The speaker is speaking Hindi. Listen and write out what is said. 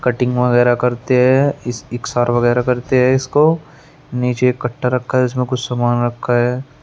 कटिंग वगैरा करते हैं इस इक्सार वगैरा करते हैं इसको नीचे कट्टा रखा है इसमें कुछ सामान रखा है।